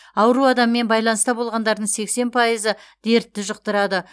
ауру адаммен байланыста болғандардың сексен пайызы дертті жұқтырады